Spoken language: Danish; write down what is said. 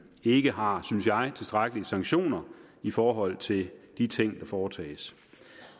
ikke har synes jeg tilstrækkelige sanktioner i forhold til de ting der foretages